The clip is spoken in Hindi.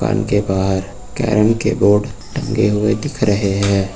दुकान के बाहर कैरम के बोर्ड टंगे हुए दिख रहे है।